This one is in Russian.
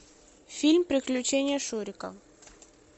фильм приключения шурика